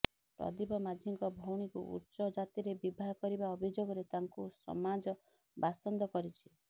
ପ୍ରଦୀପ ମାଝୀଙ୍କ ଭଉଣୀକୁ ଉଚ୍ଚ ଜାତିରେ ବିବାହ କରିବା ଅଭିଯୋଗରେ ତାଙ୍କୁ ସମାଜ ବାସନ୍ଦ କରିଛି